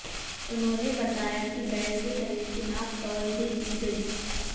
उन्होंने बताया कि बैल के शरीर की नाप तौल भी की गई